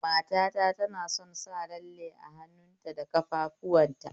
Matata tana son sa lalle a hannuta da ƙafafuwanta